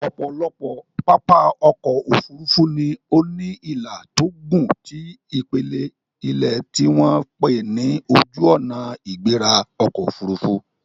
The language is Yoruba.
Ọ̀pọ̀lọpọ̀ pápá ọkọ̀ Òfurufú ni ó ní ìlà tó gùn ti ipele ilẹ̀ tí wọ́n pè ní Ojuona-igbera-okoofurufu